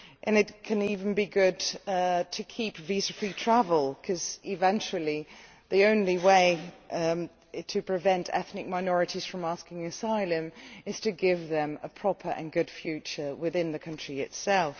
It can even be good to keep visa free travel, because eventually the only way to prevent ethnic minorities from asking for asylum is to give them a proper and good future within the country itself.